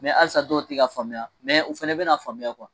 halisa dɔw tɛ ka faamuya u fɛnɛ bɛna faamuya